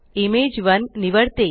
इमेज1 निवडते